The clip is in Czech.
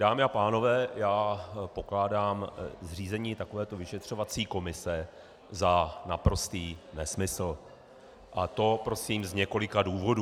Dámy a pánové, já pokládám zřízení takovéto vyšetřovací komise za naprostý nesmysl, a to prosím z několika důvodů...